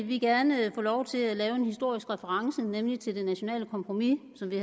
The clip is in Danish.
vi gerne have lov til at komme med en historisk reference nemlig til det nationale kompromis som vi